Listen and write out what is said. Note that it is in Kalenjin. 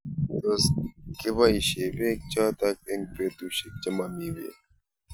Tos kibaishe peek chotok eng' petushek che mami peek